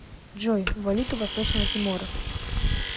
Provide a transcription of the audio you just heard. джой валюта восточного тимора